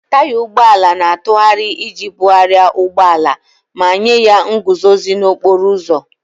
Taya ụgbọ ala na-atụgharị iji bugharịa ụgbọ ala ma nye ya nguzozi n'okporo ụzọ.